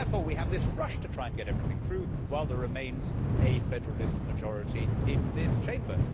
Therefore we have this rush to try and get everything through while there remains a federalist majority in this Chamber.